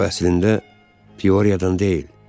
O əslində Pioriyadan deyil.